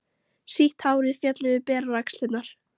Sítt hárið féll yfir berar axlirnar.